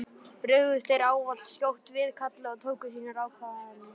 Brugðust þeir ávallt skjótt við kalli og tóku sínar ákvarðanir.